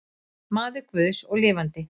Maður guðs og lifandi.